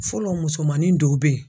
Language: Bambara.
Fɔlɔ musomanin dɔw be yen.